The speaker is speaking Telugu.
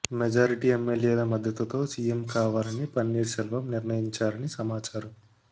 మెజరిటీ ఎమ్మెల్యేల మద్దతుతో సీఎం కావాలని పన్నీర్ సెల్వం నిర్ణయించారని సమాచారం